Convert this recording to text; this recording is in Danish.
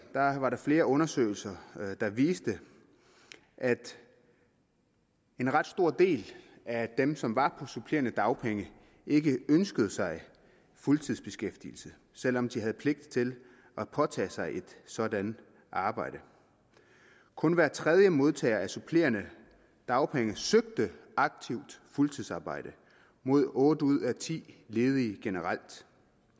var der flere undersøgelser der viste at en ret stor del af dem som var på supplerende dagpenge ikke ønskede sig fuldtidsbeskæftigelse selv om de havde pligt til at påtage sig et sådant arbejde kun hver tredje modtager af supplerende dagpenge søgte aktivt fuldtidsarbejde mod otte ud af ti ledige generelt